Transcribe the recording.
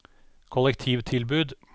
kollektivtilbud